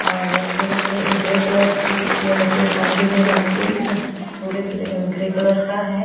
और पूरे grey grey colour की यह जो मंदिर है मंदिर पूरे ग्रे कलर का है।